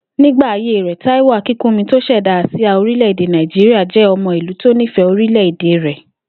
Nígbà ayé rè̩, Táíwò Akínkúnmi tó s̩è̩dá àsíá orílè̩-èdè Nàìjíríà jé̩ o̩mo̩ ìlú tó nífè̩é orílè̩-èdè rè̩